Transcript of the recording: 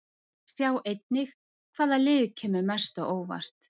Sjá einnig: Hvaða lið kemur mest á óvart?